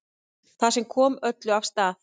Það sem kom öllu af stað